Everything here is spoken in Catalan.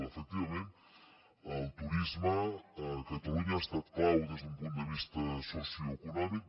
efectivament el turisme a catalunya ha estat clau des d’un punt de vista socioeconòmic